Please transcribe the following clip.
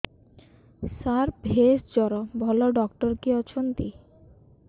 ସାର ଭେଷଜର ଭଲ ଡକ୍ଟର କିଏ ଅଛନ୍ତି